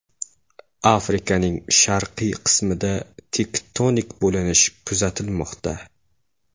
Afrikaning sharqiy qismida tektonik bo‘linish kuzatilmoqda.